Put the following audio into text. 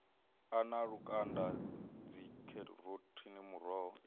a na lukanda dzikheroti muroho